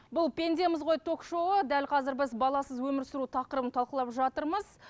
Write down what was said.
бұл пендеміз ғой ток шоуы дәл қазір біз баласыз өмір сүру тақырыбын талқылап жатырмыз